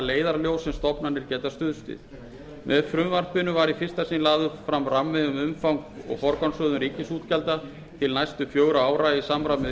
leiðarljós sem stofnanir geta stuðst við með frumvarpinu var í fyrsta sinn lagður fram rammi um umfang og forgangsröðun ríkisútgjalda til næstu fjögurra ára í samræmi við